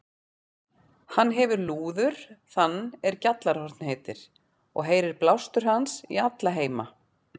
Hann hefir lúður þann er Gjallarhorn heitir, og heyrir blástur hans í alla heima.